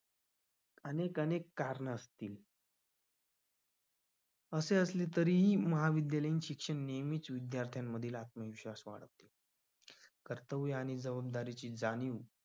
अनेक अनेक कारणं असतील असे असले तरीही महाविद्यालयीन शिक्षण नेहमी विद्यार्थ्यांमधील आत्मविश्वास कर्तव्य आणि जबाबदारीची जाणीव